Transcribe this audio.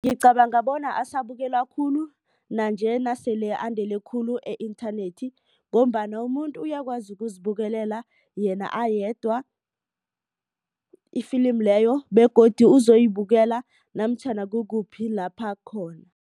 Ngicabanga bona asabukelwa khulu nanje nasele andele khulu i-inthanethi. Ngombana umuntu uyakwazi ukuzibukelela yena ayedwa ifilimi leyo begodu uzoyibukela namtjhana kukuphi lapha khona.